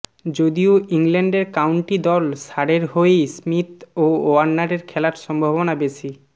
যদিও ইংল্যান্ডের কাউন্টি দল সারের হয়েই স্মিথ ও ওয়ার্নারের খেলার সম্ভাবনা বেশি